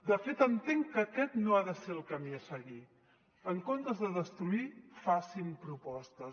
de fet entenc que aquest no ha de ser el camí a seguir en comptes de destruir facin propostes